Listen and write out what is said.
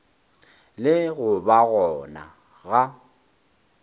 le go ba gona ga